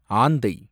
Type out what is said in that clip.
ஆந்தை